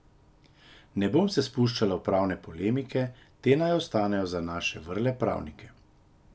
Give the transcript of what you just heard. Ne bom se spuščala v pravne polemike, te naj ostanejo za naše vrle pravnike.